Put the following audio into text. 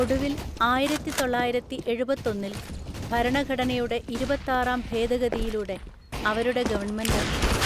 ഒടുവിൽ, ആയിരത്തിതൊള്ളായിരത്തിഎഴുപത്തൊന്നില്‍ ഭരണഘടനയുടെ ഇരുപത്താറാം ഭേദഗതിയിലൂടെ അവരുടെ ഗവൺമെന്റ്